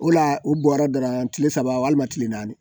O la u bɔra dɔrɔn kile saba walima kile naani